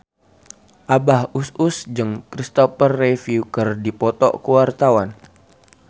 Abah Us Us jeung Christopher Reeve keur dipoto ku wartawan